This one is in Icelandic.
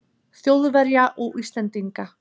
Þjóðverja og Íslendinga.